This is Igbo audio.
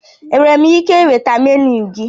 Enwere m ike ịnweta menu gị?